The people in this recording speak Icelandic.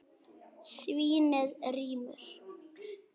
Svínið rymur.